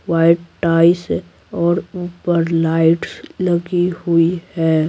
White tiles और ऊपर lights लगी हुई है।